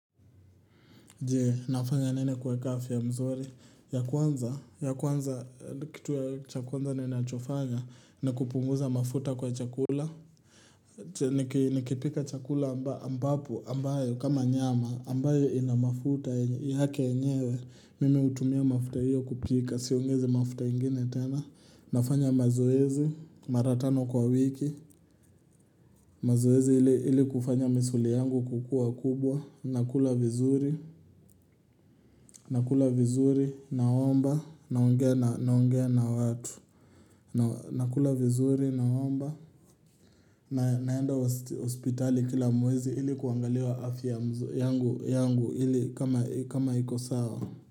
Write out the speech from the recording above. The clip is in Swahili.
Je, nafanya nini kuweka afya mzuri? Ya kwanza, ya kwanza, kitu cha kwanza ninachofanya, ni kupunguza mafuta kwa chakula. Nikipika chakula ambapo, ambayo, kama nyama, ambayo inamafuta, yake yenyewe, mimi hutumia mafuta hiyo kupika, siongezi mafuta ingine tena. Nafanya mazoezi, maratano kwa wiki, mazoezi ili kufanya misuli yangu kukuwa kubwa, nakula vizuri nakula vizuri naomba nakula vizuri naomba naenda hospitali kila mwezi Ili kuangalia afya yangu Ili kama iko sawa.